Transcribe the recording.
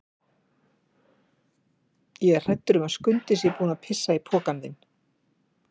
Ég er hræddur um að Skundi sé búinn að pissa í pokann þinn.